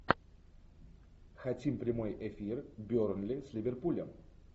хотим прямой эфир бернли с ливерпулем